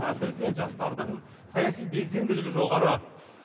әсіресе жастардың саяси белсенділігі жоғары